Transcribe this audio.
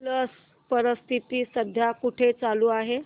स्लश परिषद सध्या कुठे चालू आहे